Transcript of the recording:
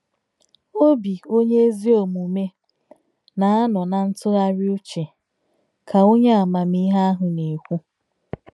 Obi onye ezi omume na-anọ na ntụgharị uche, ” ka onye amamihe ahụ na-ekwu.